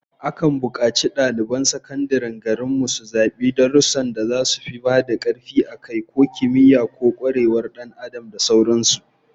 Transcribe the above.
Akan bukaci daliban sakandaren garin mu su zabi darussan da zasu ba da karfi a kai, ko kimiyya, ko kwarewar Dan Adam da sauran su